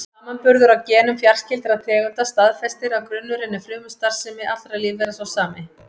Samanburður á genum fjarskyldra tegunda staðfestir að grunnurinn að frumustarfsemi allra lífvera er sá sami.